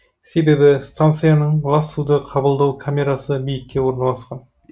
себебі станцияның лас суды қабылдау камерасы биікте орналасқан